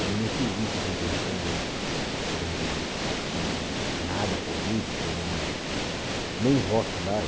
Eu não fiz isso assim pensando em nada político, não nem voto lá.